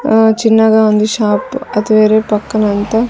ఆ చిన్నగా ఉంది షాప్ అది వేరే పక్కన అంతా.